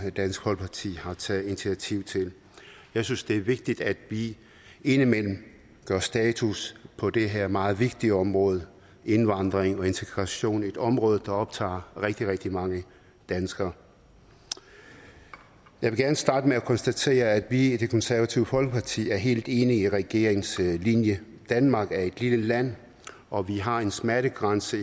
dansk folkeparti har taget initiativ til jeg synes det er vigtigt at vi indimellem gør status på det her meget vigtige område indvandring og integration som er et område som optager rigtig rigtig mange danskere jeg vil gerne starte med at konstatere at vi i det konservative folkeparti er helt enige i regeringens linje danmark er et lille land og vi har en smertegrænse